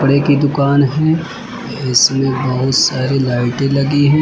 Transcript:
कपड़े की दुकान है इसमें बहुत सारी लाइटें लगी हैं।